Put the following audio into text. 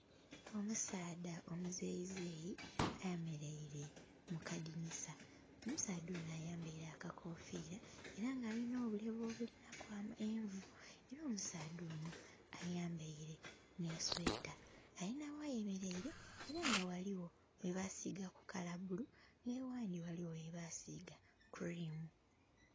Omusaadha omuzeyizeyi ayemeraile mu kadinisa, omusaadha ono ayambaile akakoofira eranga eranga alina obulevu obulinaku envu. Era omusaadha ono ayambaile n'esweeta. Alina ghayemeraile era nga ghaligho ghebasiiga kala bulu nhaghandi ghaligho webaasiga cream.